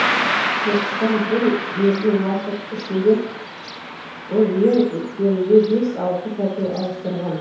соғыстан бір бергі уақыт ішінде ол ең кемінде бес алты пәтер ауыстырған